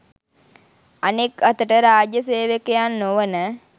අනෙක් අතට රාජ්‍ය සේවකයන් නොවන